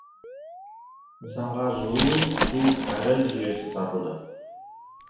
нысанғажылу су кәріз жүйесі тартылды